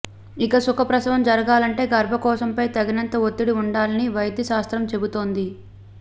ఇక సుఖప్రసవం జరగాలంటే గర్భకోశంపై తగినంత ఒత్తిడి వుండాలని వైద్య శాస్త్రం చెబుతోంది